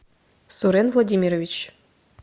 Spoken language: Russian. сурен владимирович